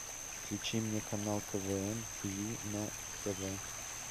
включи мне канал квн тиви на тв